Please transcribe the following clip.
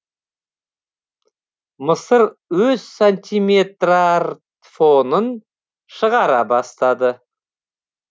мысыр өз сантиметрартфонын шығара бастады